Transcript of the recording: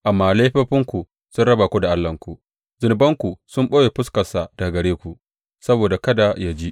Amma laifofinku sun raba ku da Allahnku; zunubanku sun ɓoye fuskarsa daga gare ku, saboda kada yă ji.